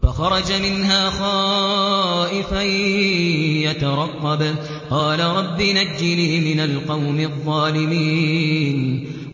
فَخَرَجَ مِنْهَا خَائِفًا يَتَرَقَّبُ ۖ قَالَ رَبِّ نَجِّنِي مِنَ الْقَوْمِ الظَّالِمِينَ